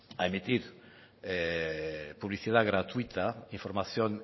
a emitir publicidad gratuita información